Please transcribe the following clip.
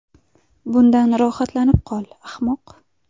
Bundan rohatlanib qol, ahmoq!